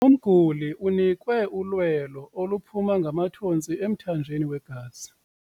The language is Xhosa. Umguli unikwe ulwelo oluphuma ngamathontsi emthanjeni wegazi.